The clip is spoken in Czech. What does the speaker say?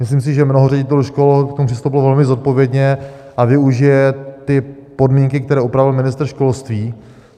Myslím si, že mnoho ředitelů škol k tomu přistupovalo velmi zodpovědně a využije ty podmínky, které upravil ministr školství.